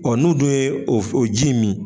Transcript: Ɔ n' u du ye o ji min.